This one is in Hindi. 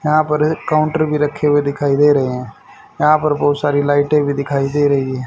यहां पर एक काउंटर भी रखे हुए दिखाई दे रहे है यहां पर बहुत सारी लाइटें भी दिखाई दे रही हैं।